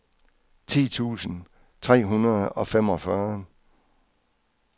ti tusind tre hundrede og femogfyrre